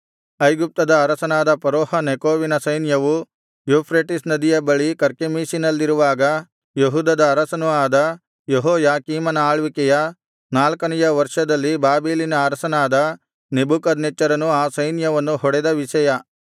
ಐಗುಪ್ತವನ್ನು ಕುರಿತದ್ದು ಐಗುಪ್ತದ ಅರಸನಾದ ಫರೋಹ ನೆಕೋವಿನ ಸೈನ್ಯವು ಯೂಫ್ರೆಟಿಸ್ ನದಿಯ ಬಳಿ ಕರ್ಕೆಮೀಷಿನಲ್ಲಿರುವಾಗ ಯೋಷೀಯನ ಮಗನೂ ಯೆಹೂದದ ಅರಸನೂ ಆದ ಯೆಹೋಯಾಕೀಮನ ಆಳ್ವಿಕೆಯ ನಾಲ್ಕನೆಯ ವರ್ಷದಲ್ಲಿ ಬಾಬೆಲಿನ ಅರಸನಾದ ನೆಬೂಕದ್ನೆಚ್ಚರನು ಆ ಸೈನ್ಯವನ್ನು ಹೊಡೆದ ವಿಷಯ